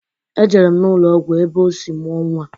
Ejere m n'ụlọgwụ ebe o sị mụọ nnwa.